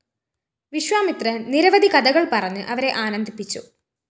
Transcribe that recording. വിശ്വാമിത്രന്‍ നിരവധി കഥകള്‍ പറഞ്ഞ് അവരെ ആനന്ദിപ്പിച്ചു